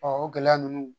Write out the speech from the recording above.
o gɛlɛya ninnu